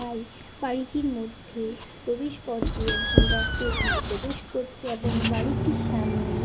I বাড়িটির মধ্যে প্রবেশ পথ দিয়ে একজন ব্যক্তি ওখানে প্রবেশ করছে এবং বাড়িটির সামনে --